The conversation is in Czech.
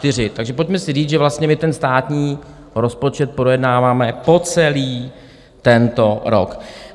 Takže pojďme si říct, že vlastně my ten státní rozpočet projednáváme po celý tento rok.